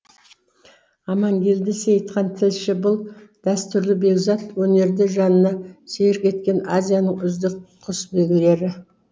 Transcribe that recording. амангелді сейітхан тілші бұл дәстүрлі бекзат өнерді жанына серік еткен азияның үздік құсбегілері